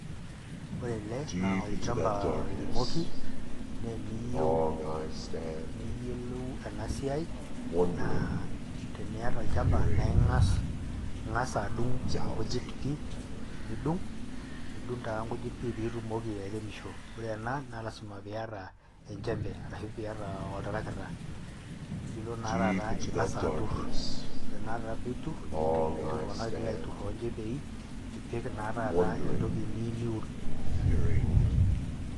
Ore ele naa olchamba oiremoki nee eniyeu niyiolou ena siai naa teniyata olchamba nae ing'as ing'as adung' inkujit pii, nidung' nidung' taa inkujit pii piitumoki airemisho. Ore ena naa lazima piiyata enchembe arashu piiyata oltarakita, nilo naa taata ing'asa atur, ore naa taata piitur etii iltung'anak oigil aatur too nchembei nipik taa taata entoki naa niyeu niun.